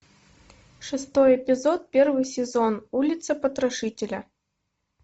шестой эпизод первый сезон улица потрошителя